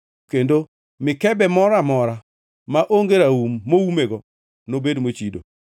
kendo mikebe moro amora maonge raum moumego nobed mochido.